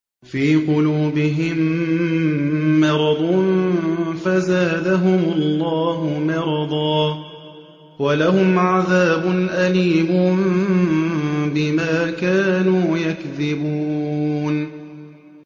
فِي قُلُوبِهِم مَّرَضٌ فَزَادَهُمُ اللَّهُ مَرَضًا ۖ وَلَهُمْ عَذَابٌ أَلِيمٌ بِمَا كَانُوا يَكْذِبُونَ